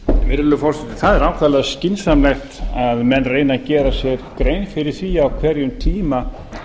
virðulegur forseti það er ákaflega skynsamlegt að menn reyni að gera sér grein fyrir því á hverjum tíma